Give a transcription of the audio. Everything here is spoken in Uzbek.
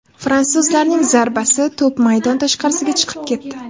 Fransuzlarning zarbasi, to‘p maydon tashqarisiga chiqib ketdi.